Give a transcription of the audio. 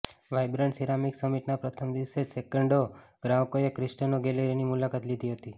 vibrant ceramic સમીટના પ્રથમ દિવસે જ સેંકડો ગ્રાહકોએ ક્રેસ્ટોના ગેલેરીની મુલાકાત લીધી હતી